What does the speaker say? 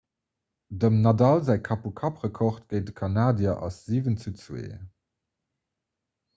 dem nadal säi kapp-u-kapp-rekord géint de kanadier ass 7:2